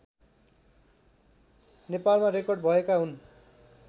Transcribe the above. नेपालमा रेकर्ड भएका हुन्